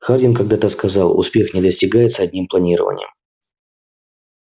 хардин когда-то сказал успех не достигается одним планированием